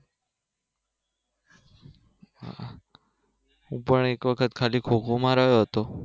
હું પણ એક વખત ખાલી ખો ખો માં રહ્યો હતો